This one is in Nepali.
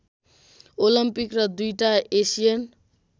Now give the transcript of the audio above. ओलम्पिक र दुईटा एसियन